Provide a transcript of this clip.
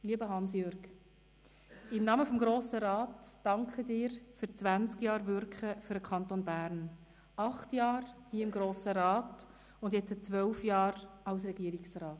Lieber Hans-Jürg, im Namen des Grossen Rats danke ich dir für zwanzig Jahre Wirken für den Kanton Bern: acht Jahre im Grossen Rat und nun zwölf Jahre als Regierungsrat.